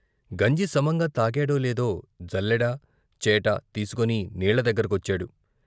గంజి సమంగా తాగాడోలేదో జల్లెడ, చేట తీసుకొని నీళ్ళ దగ్గర కొచ్చాడు.